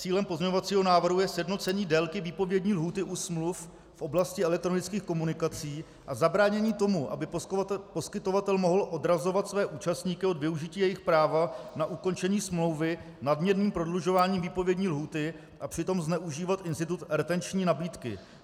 Cílem pozměňovacího návrhu je sjednocení délky výpovědní lhůty u smluv v oblasti elektronických komunikací a zabránění tomu, aby poskytovatel mohl odrazovat své účastníky od využití jejich práva na ukončení smlouvy nadměrným prodlužováním výpovědní lhůty a přitom zneužívat institut retenční nabídky.